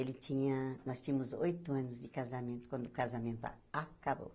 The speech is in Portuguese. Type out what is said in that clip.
Ele tinha... nós tínhamos oito anos de casamento, quando o casamento acabou.